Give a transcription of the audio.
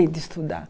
E de estudar